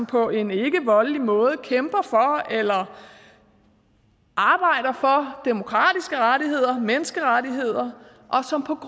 på en ikke voldelig måde kæmper for eller arbejder for demokratiske rettigheder menneskerettigheder og som på